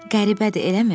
Qəribədir, eləmi?